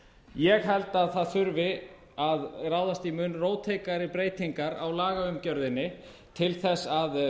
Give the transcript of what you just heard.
ég held að það þurfi að ráðast í mun róttækari breytingar á lagaumgjörðinni til þess að